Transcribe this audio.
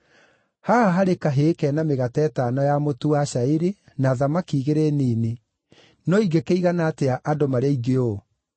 “Haha harĩ kahĩĩ karĩ na mĩgate ĩtano ya mũtu wa cairi na thamaki igĩrĩ nini, no ingĩkĩigana atĩa andũ marĩ aingĩ ũũ?”